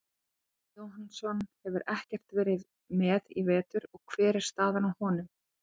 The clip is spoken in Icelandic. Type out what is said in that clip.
Atli Jóhannsson hefur ekkert verið með í vetur hver er staðan á honum?